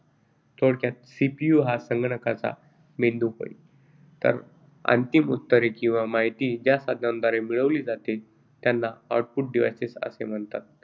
थोडक्यात CPU हा संगणकाचा मेंदू होय. तर अंतिम उत्तरे किंवा माहिती ज्या साधनांद्वारे मिळवली जाते त्यांना output devices असे म्हणतात,